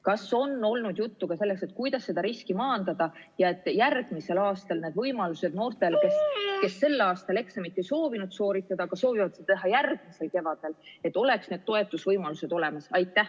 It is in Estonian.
Kas on olnud juttu ka sellest, kuidas seda riski maandada, et järgmisel aastal noortel, kes sel aastal eksamit ei soovi sooritada, aga soovivad seda teha järgmisel kevadel, oleks need toetusvõimalused olemas?